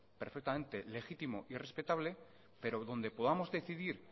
perfectamente legítimo y respetable pero donde podamos decidir